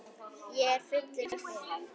Ég er fullur af þér.